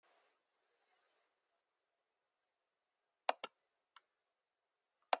Gestirnir borða þær með bestu lyst.